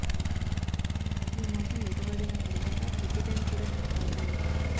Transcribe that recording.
ఈ మోసం బైటపడిన తర్వాత ప్రతి బ్యాంక్ కూడా తమ ఖాతాలు